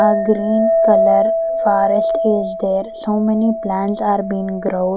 a green color forest is there so many plants are been grown.